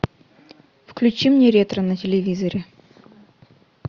включи мне ретро на телевизоре